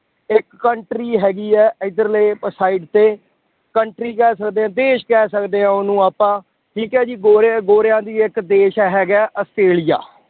ਇੱਕ country ਹੈਗੀ ਹੈ ਇੱਧਰਲੇ side ਤੇ country ਕਹਿ ਸਕਦੇ ਹਾਂ ਦੇਸ ਕਹਿ ਸਕਦੇ ਹਾਂ ਉਹਨੂੰ ਆਪਾਂ ਠੀਕ ਹੈ ਜੀ ਗੋਰਿਆਂ ਗੋਰਿਆਂ ਦੀ ਇੱਕ ਦੇਸ ਹੈਗਾ ਹੈ ਆਸਟ੍ਰੇਲੀਆ